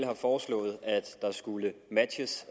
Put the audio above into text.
har foreslået at der skulle matches